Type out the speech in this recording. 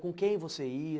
Com quem você ia?